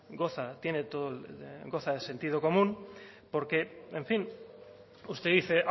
goza tiene todo el goza de sentido común porque en fin usted dice